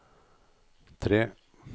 tre